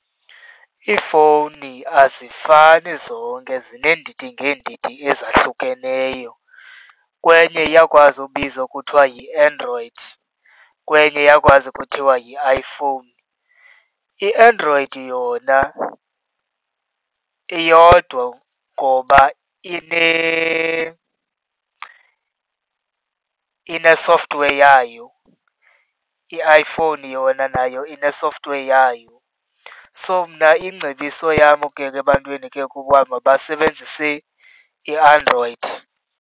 Iifowuni azifani zonke, zineendidi ngeendidi ezahlukeneyo. Kwenye iyakwazi ubizwa kuthiwa yiAndroid kwenye iyakwazi kuthiwa yi-iPhone. IAndroid yona iyodwa ngoba ine-software yayo, i-iPhone yona nayo ine-software yayo. So mna ingcebiso yam ebantwini ke kukuba mabasebenzise iAndroid.